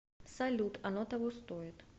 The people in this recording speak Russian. салют оно того стоит